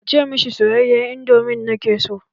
Kace mishi soyayyen indomi na ke so.